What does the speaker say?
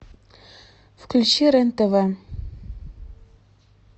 включи рен тв